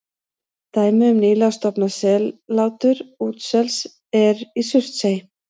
Dæmi um nýlega stofnað sellátur útsels er í Surtsey.